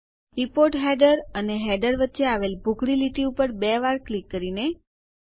report header અને header વચ્ચે આવેલ ભૂખરી લીટી ઉપર બે વાર ક્લિક કરીને